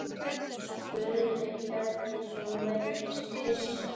spurði Hjördís og virtist hissa.